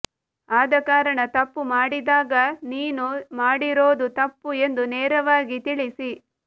ಆದಕಾರಣ ತಪ್ಪು ಮಾಡಿದಾಗ ನೀನು ಮಾಡಿರೋದು ತಪ್ಪು ಎಂದು ನೇರವಾಗಿ ತಿಳಿಸಿ